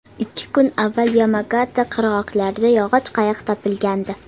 Ikki kun avval Yamagata qirg‘oqlarida yog‘och qayiq topilgandi.